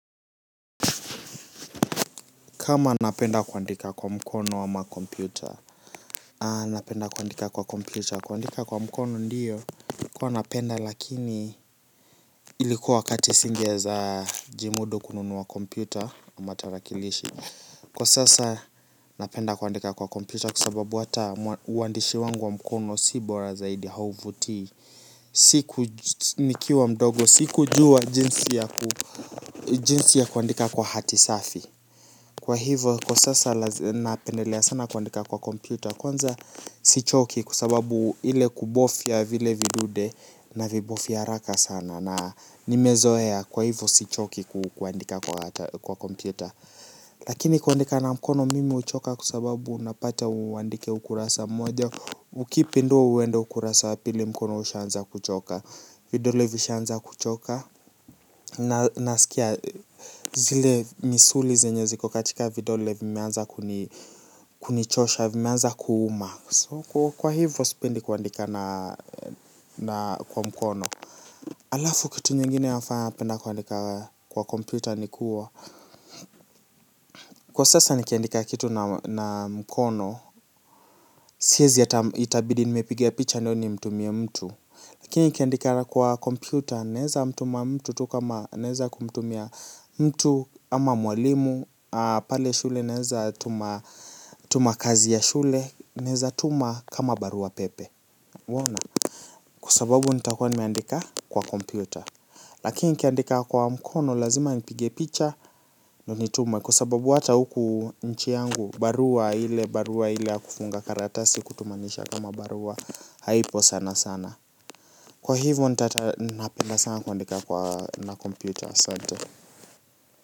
Kama napenda kuandika kwa mkono ama kompyuta napenda kuandika kwa kompyuta. Kuandika kwa mkono ndio huwa napenda lakini ilikuwa wakati singe weza jimudu kununua kompyuta aMa tarakilishi. Kwa sasa napenda kuandika kwa kompyuta. Kwasababu ata uandishi wangu wa mkono si bora zaidi hauvutii. Siku nikiwa mdogo si kujuwa jinsi ya kuandika kwa hati safi. Kwa hivo kwa sasa napendelea sana kuandika kwa kompyuta kwanza sichoki kwasababu ile kubofia vile vidude na vibofia haaka sana na nimezea kwa hivo sichoki kuandika kwa kompyuta. Lakini kuandika na mkono mimi huchoka kwasababu unapata uandike ukurasa mmoja ukipindua uende ukurasa wa pili mkono ushaanza kuchoka. Vidole vishaanza kuchoka. Na nasikia zile misuli zenye ziko katika vidole vimeanza kunichosha. Vimeanza kuuma. Kwa hivyo sipendi kuandika na kwa mkono. Alafu kitu nyingine nafanya napenda kuandika kwa kompyuta ni kuwa kwa sasa nikiandika kitu na mkono siezi ata itabidi nimepiga picha nayo ni mtumie mtu lakini nikiandika kwa kompyuta naeza mtuma tu mtu kama naeza kumtumia mtu ama mwalimu pale shule naweza tuma kazi ya shule naeeza tuma kama barua pepe. Waona, kwasababu nitakua nimeandika kwa kompyuta. Lakini nikiandika kwa mkono lazima nipige picha ndio nitume kwa sababu ata huku nchi yangu barua ile barua ya kufunga kartasi kutumanisha kama barua haipo sana sana. Kwa hivyo nitata napenda sana kuandika kwa na computer asante.